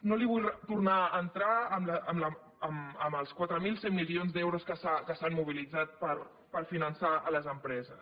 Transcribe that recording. no vull tornar a entrar en els quatre mil cent milions d’euros que s’han mobilitzat per finançar les empreses